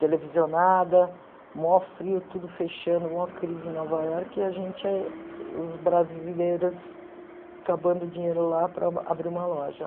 Televisionada, maior frio, tudo fechando, uma crise em Nova Iorque, e a gente, os brasileiros, acabando o dinheiro lá para abrir uma loja.